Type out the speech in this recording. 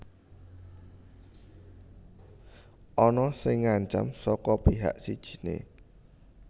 Ana sing ngancam saka pihak sijiné